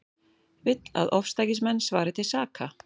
Vill að ofstækismenn svari til saka